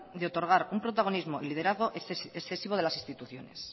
de otorgar un protagonismo y liderazgo excesivo de las instituciones